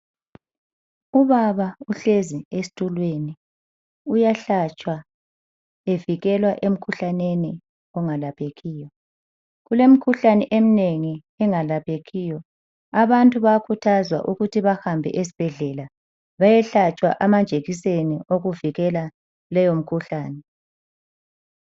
Ubaba uhlezi esitulweni uyahlatshwa evikelwa emkhuhlaneni ongalaphekiyo. Kulemkhuhlane eminengi engalaphekiyo abantu bayakhuthazwa ukuthi bahambe esibhedlela bayehlatshwa amajekiseni okuvikela leyomikhuhlane.